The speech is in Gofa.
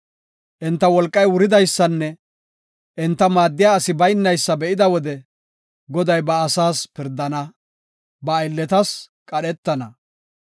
Enta wolqay wuridaysanne enta maaddiya asi baynaysa be7ida wode, Goday ba asaas pirdana; ba aylletas qadhetana.